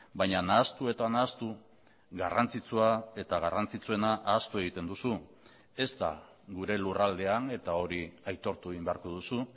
baina nahastu eta nahastu garrantzitsua eta garrantzitsuena ahaztu egiten duzu ez da gure lurraldean eta hori aitortu egin beharko duzu